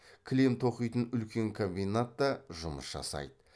кілем тоқитын үлкен комбинат та жұмыс жасайды